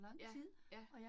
Ja, ja